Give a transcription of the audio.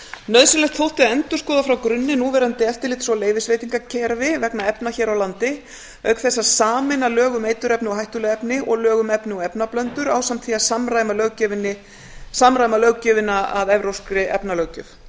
nauðsynlegt þótti að endurskoða frá grunni núverandi eftirlits og leyfisveitingakerfi vegna efna hér á landi auk þess að sameina lög um eiturefni og hættuleg efni og lög um efni og efnablöndur ásamt því að samræma löggjöfina að evrópskri efnalöggjöf